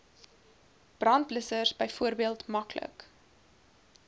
brandblussers byvoorbeeld maklik